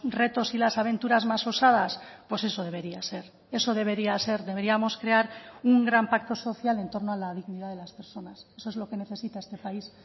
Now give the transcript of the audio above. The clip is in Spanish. retos y las aventuras más osadas pues eso debería ser eso debería ser deberíamos crear un gran pacto social en torno a la dignidad de las personas eso es lo que necesita este país